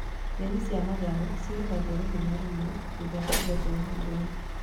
Nyeni cia matharũ cigethagwo rĩmwe na rĩmwe thutha wa kũgethwo hau mbere